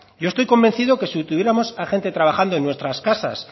yo estoy convencido que si tuviéramos a gente trabajando en nuestras casas